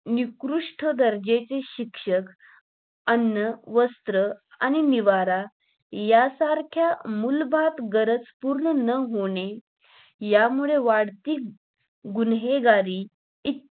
नित्कृष्ट दर्जेचे शिक्षण अन्न, वस्त्र आणि निवारा या सारख्या मूलभूत गरज पूर्ण न होणे यामुळे वाढती गुन्हेगारी एक